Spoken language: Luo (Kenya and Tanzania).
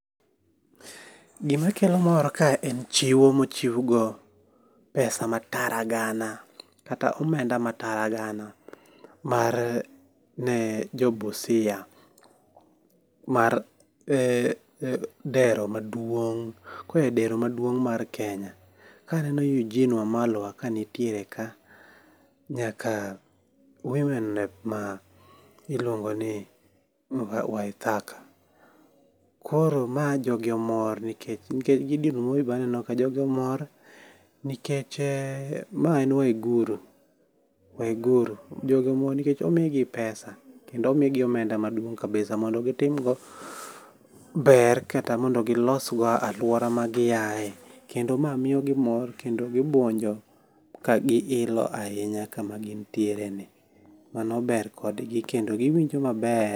Gima kelo mor kae en chiwo mochiw go pesa ma tara gana kata omenda ma taragana mar ne jo Busia mar dero maduong' ko a e dero maduong' mar Kenya. Kae aneno Eugine Wamalwa ka nitiere ka nyaka Women Rep ma iluongo ni Waithaka. Koro ma jogi omor nikech Gideon Moi be aneno ka. Jogi omor nikech. Mae en Waiguru. Jogi omor nikech omi gi pesa kendo omi gi omenda maduong kabisa mondo gitim go ber kata mondo gilos go aluora ma gi ae. Kendo ma miyo gi mor kendo gibuonjo gi ilo ahinya kama gintiere ni. Mano ber kodgi kendo giwinjo maber.